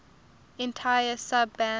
entire sub bands